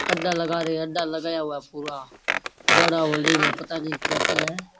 अड्डा लगा रहे हैं अड्डा लगाया हुआ है पूरा बड़ा होल्डिंग है पता नहीं क्या कह रहे हैं।